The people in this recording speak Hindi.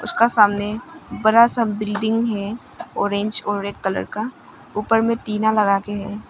उसका सामने बरा सा बिल्डिंग है। ऑरेंज और रेड कलर का ऊपर में टीना लगा के हैं।